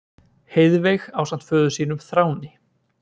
Heiðveig ásamt föður sínum, Þráni